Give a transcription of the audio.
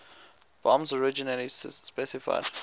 bombs originally specified